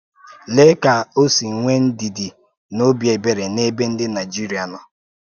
Lée ka ọ̀ sí nwee ndìdì na òbì èbèrè n’ebe ǹdị Naịjíríà nọ.